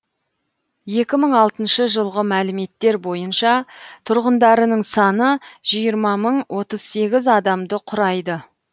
екі мың алтыншы жылғы мәліметтер бойынша тұрғындарының саны жиырма мың отыз сегіз адамды құрайды